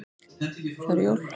Það eru jól.